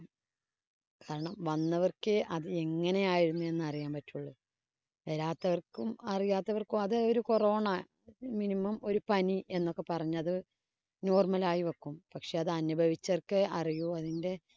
കാരണം, വന്നവര്‍ക്കെ അത് എങ്ങനെയായിരുന്നു എന്നറിയാന്‍ പറ്റുള്ളൂ. വരാത്തവര്‍ക്കും, അറിയാത്തവര്‍ക്കും അത് ഒരു corona minimum ഒരു പനി എന്നൊക്കെ പറഞ്ഞത് normal ആയി വക്കും. പക്ഷേ അത് അനുഭവിച്ചവര്‍ക്കെ അതിന്‍റെ